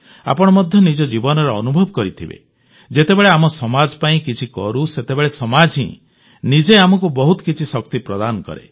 ଆପଣ ମଧ୍ୟ ନିଜ ଜୀବନରେ ଅନୁଭବ କରିଥିବେ ଯେତେବେଳେ ଆମ ସମାଜ ପାଇଁ କିଛି କରୁ ସେତେବେଳେ ସମାଜ ହିଁ ନିଜେ ଆମକୁ ବହୁତ କିଛି ଶକ୍ତି ପ୍ରଦାନ କରେ